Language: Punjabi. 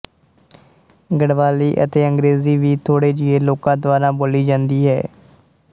ਗੜ੍ਹਵਾਲੀ ਅਤੇ ਅੰਗਰੇਜ਼ੀ ਵੀ ਥੋੜ੍ਹੇ ਜਿਹੇ ਲੋਕਾਂ ਦੁਆਰਾ ਬੋਲੀ ਜਾਂਦੀ ਹੈ